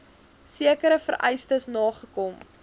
sekere vereistes nagekom